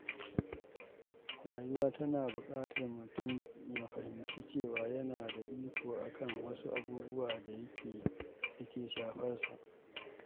Rayuwa tana buƙatar mutum ya fahimci cewa yana da iko a kan wasu abubuwan da ke shafar sa.